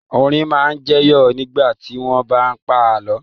Orin máa ń jẹyọ nígbà tí wọ́n bá ń pa àlọ́.